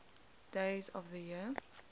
days of the year